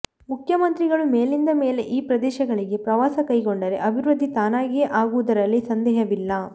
ಮುಖ್ಯಮಂತ್ರಿಗಳು ಮೇಲಿಂದ ಮೇಲೆ ಈ ಪ್ರದೇಶಗಳಿಗೆ ಪ್ರವಾಸ ಕೈಗೊಂಡರೆ ಅಭಿವೃದ್ಧಿ ತಾನಾಗಿಯೇ ಆಗುವುದರಲ್ಲಿ ಸಂದೇಹವಿಲ್ಲ